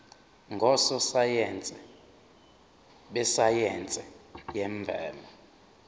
ngososayense besayense yemvelo